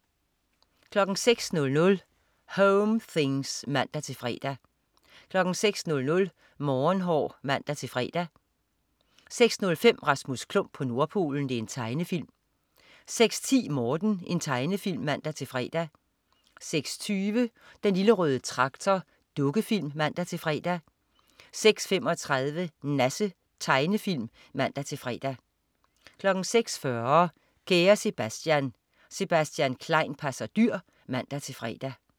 06.00 Home things (man-fre) 06.00 Morgenhår (man-fre) 06.05 Rasmus Klump på Nordpolen. Tegnefilm 06.10 Morten. Tegnefilm (man-fre) 06.20 Den lille røde Traktor. Dukkefilm (man-fre) 06.35 Nasse. Tegnefilm (man-fre) 06.40 Kære Sebastian. Sebastian Klein passer dyr (man-fre)